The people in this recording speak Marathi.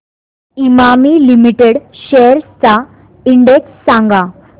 इमामी लिमिटेड शेअर्स चा इंडेक्स सांगा